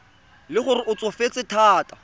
le gore o tsofetse thata